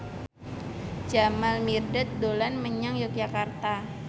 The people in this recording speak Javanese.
Jamal Mirdad dolan menyang Yogyakarta